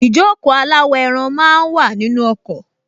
Ìjókòó aláwọ̀-ẹran máa wà nínú ọkọ̀